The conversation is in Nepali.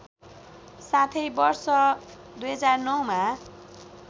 साथै वर्ष २००९ मा